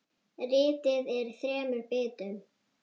Ritið er í þremur bindum.